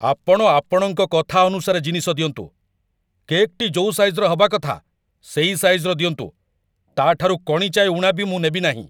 ଆପଣ ଆପଣଙ୍କ କଥା ଅନୁସାରେ ଜିନିଷ ଦିଅନ୍ତୁ। କେକ୍‌ଟି ଯୋଉ ସାଇଜ୍‌ର ହେବା କଥା ସେଇ ସାଇଜ୍‌ର ଦିଅନ୍ତୁ, ତା'ଠାରୁ କଣିଚାଏ ଊଣା ମୁଁ ନେବି ନାହିଁ।